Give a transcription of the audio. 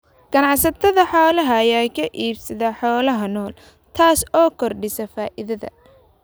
Ganacsatada xoolaha ayaa ka iibsada xoolaha nool, taas oo kordhisa faa'iidada.